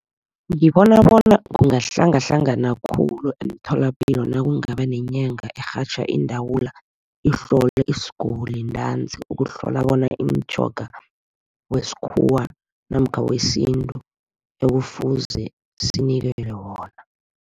Ngibona bona kungahlangahlangana khulu, emtholapilo nakungaba nenyanga erhatjha iindawula. Ihlole isiguli ntanzi, ukuhlola bona imitjhoga wesikhuwa namkha wesintu ekufuze sinikelwe wona.